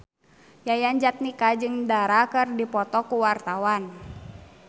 Yayan Jatnika jeung Dara keur dipoto ku wartawan